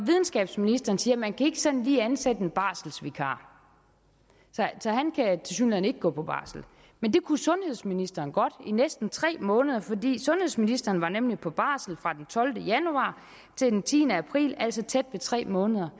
videnskabsministeren siger at man ikke sådan lige kan ansætte en barselsvikar så han kan tilsyneladende ikke gå på barsel men det kunne sundhedsministeren godt i næsten tre måneder sundhedsministeren var nemlig på barsel fra den tolvte januar til den tiende april altså tæt på tre måneder